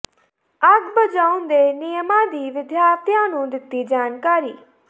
ਅੱਗ ਬੁਝਾਉਣ ਦੇ ਨਿਯਮਾਂ ਦੀ ਵਿਦਿਆਰਥੀਆਂ ਨੂੰ ਦਿੱਤੀ ਜਾਣਕਾਰੀ